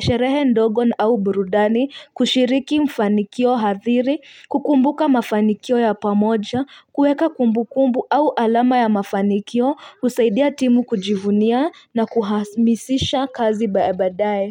sherehe ndogo au burudani kushiriki mafanikio hathiri kukumbuka mafanikio ya pamoja kuweka kumbukumbu au alama ya mafanikio husaidia timu kujivunia na kuhasmisisha kazi baadaye.